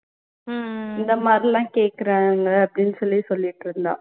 இந்த மாதிரி எல்லாம் கேக்குறாங்க அப்ப்டின்னு சொல்லி சொல்லிட்டிருந்தா